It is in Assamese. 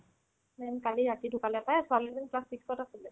উম্, কালি ৰাতি দুফালৰ পাই ছোৱালি জনি class six ত আছিলে